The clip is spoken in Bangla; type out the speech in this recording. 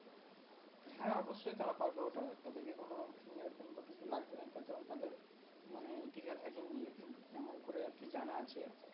হ্যাঁ অবশ্যই তারা পারবে ওটা তাদেরকে কোনো Fingerprint বা কিছু লাগবেনা তার কারণ তাদের মানে এমন করে আরকি জানা আছে